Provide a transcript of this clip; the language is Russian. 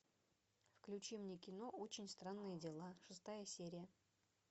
включи мне кино очень странные дела шестая серия